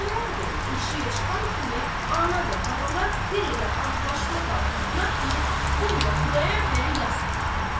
Xudayar bəy eşiyə çıxan kimi ana və balalar bir elə ağlaşma qalxızdılar ki, guya Xudayar bəyə yas qoydular.